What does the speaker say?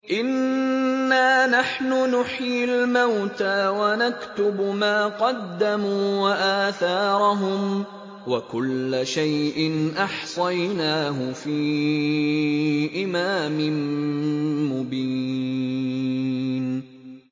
إِنَّا نَحْنُ نُحْيِي الْمَوْتَىٰ وَنَكْتُبُ مَا قَدَّمُوا وَآثَارَهُمْ ۚ وَكُلَّ شَيْءٍ أَحْصَيْنَاهُ فِي إِمَامٍ مُّبِينٍ